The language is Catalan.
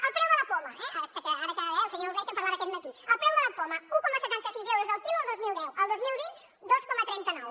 el preu de la poma eh ara que el senyor ordeig en parlava aquest matí un coma setanta sis euros el quilo el dos mil deu el dos mil vint dos coma trenta nou